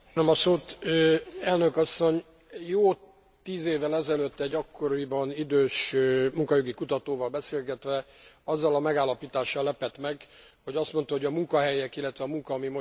Jó tíz évvel ezelőtt, egy akkoriban idős munkaügyi kutatóval beszélgetve, azzal a megállapítással lepett meg, hogy azt mondta, hogy a munkahelyek, illetve a munka, ami most megszűnik, soha többé nem tér vissza.